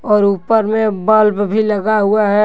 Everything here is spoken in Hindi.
और ऊपर में बल्ब भी लगा हुआ है।